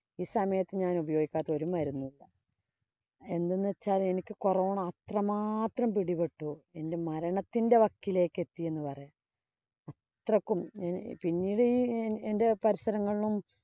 ഈ സമയത്ത് ഞാനുപയോഗിക്കാത്ത ഒരു മരുന്നില്ല എന്തെന്ന് വച്ചാല്‍ എനിക്ക് corona അത്രമാത്രം പിടിപ്പെട്ടു. എന്‍റെ മരണത്തിന്‍റെ വക്കിലേക്ക് എത്തിയെന്ന് പറയാം. അത്രയ്ക്കും പിന്നിട് എന്‍റെ പരിസരങ്ങളിലും